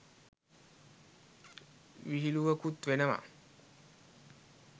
විහිලුවකුත් වෙනවා.